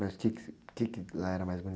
Mas o quê que você, o quê que lá era mais bonito?